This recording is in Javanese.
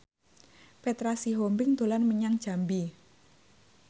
Petra Sihombing dolan menyang Jambi